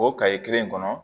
O kaye kelen kɔnɔ